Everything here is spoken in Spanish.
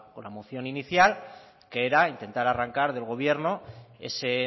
con la moción inicial que era intentar arrancar del gobierno ese